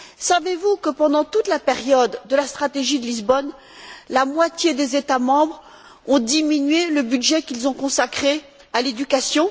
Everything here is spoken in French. Savez vous que, pendant toute la période de la stratégie de Lisbonne, la moitié des États membres ont diminué le budget qu'ils ont consacré à l'éducation?